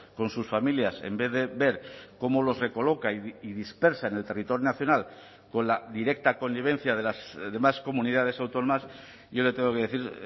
con sus familias en vez de ver cómo los recoloca y dispersa en el territorio nacional con la directa connivencia de las demás comunidades autónomas yo le tengo que decir